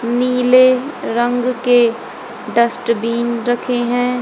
नीले रंग के डस्टबिन रखे हैं।